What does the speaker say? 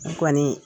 N kɔni